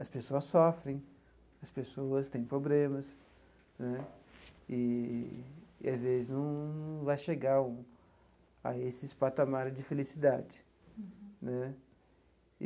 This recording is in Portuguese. As pessoas sofrem, as pessoas têm problemas né eee e, às vezes, não vai chegar o a esses patamares de felicidade né.